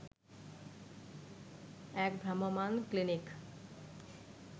এক ভ্রাম্যমান ক্লিনিক